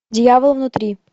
дьявол внутри